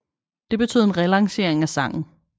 Det betød en relancering af sangen